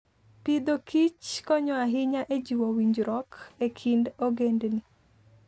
Agriculture and Foodkonyo ahinya e jiwo winjruok e kind ogendini.